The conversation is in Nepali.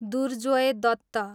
दुर्जोय दत्त